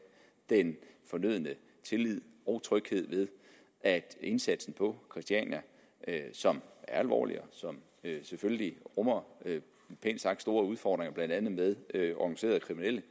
den fornødne tillid og tryghed ved at indsatsen på christiania som er alvorlig og som selvfølgelig rummer pænt sagt store udfordringer blandt andet med organiserede kriminelle